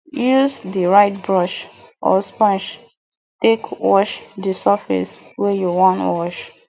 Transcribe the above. use di right brush or sponge take wash di surface wey you wan wash